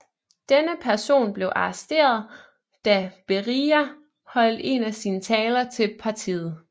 Denne person blev arresteret da Berija holdt en af sine taler til partiet